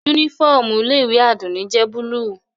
Unifọmú ile-iwe Adunni jẹ buluu.